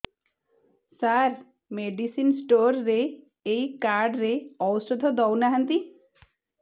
ସାର medicine store ରେ ଏଇ card ରେ ଔଷଧ ଦଉନାହାନ୍ତି